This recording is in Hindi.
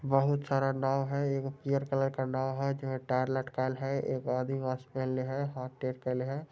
बहुत सारा नाव है एगो पीयर कलर का नाव है जो टायर लटकायल है एगो आदीवासी हाथ टेढ़ कइले है।